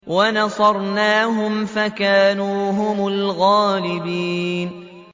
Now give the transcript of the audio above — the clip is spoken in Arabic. وَنَصَرْنَاهُمْ فَكَانُوا هُمُ الْغَالِبِينَ